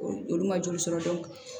Olu olu ma joli sɔrɔ